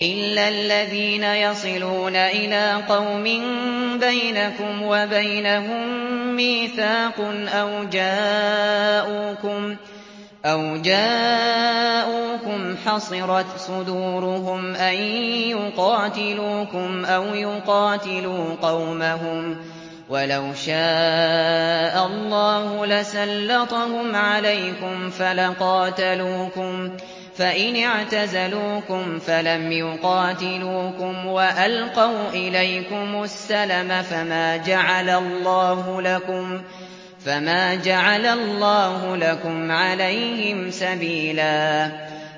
إِلَّا الَّذِينَ يَصِلُونَ إِلَىٰ قَوْمٍ بَيْنَكُمْ وَبَيْنَهُم مِّيثَاقٌ أَوْ جَاءُوكُمْ حَصِرَتْ صُدُورُهُمْ أَن يُقَاتِلُوكُمْ أَوْ يُقَاتِلُوا قَوْمَهُمْ ۚ وَلَوْ شَاءَ اللَّهُ لَسَلَّطَهُمْ عَلَيْكُمْ فَلَقَاتَلُوكُمْ ۚ فَإِنِ اعْتَزَلُوكُمْ فَلَمْ يُقَاتِلُوكُمْ وَأَلْقَوْا إِلَيْكُمُ السَّلَمَ فَمَا جَعَلَ اللَّهُ لَكُمْ عَلَيْهِمْ سَبِيلًا